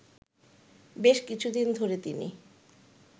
বেশ কিছুদিন ধরে তিনি